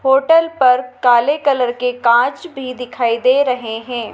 Hotel पर काले colour के कांच भी दिखाई दे रहे हैं।